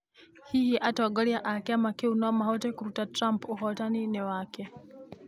Hihi atongoria a kĩama kĩu no mahote kũruta Trump ũhootani-inĩ wake?